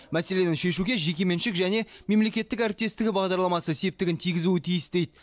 мәселені шешуге жекеменшік және мемлекеттік әріптестік бағдарламасы септігін тигізуі тиіс дейді